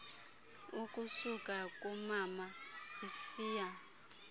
ukusuka kumama isiya